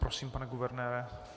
Prosím, pane guvernére.